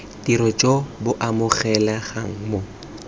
tiro jo bo amogelegang mo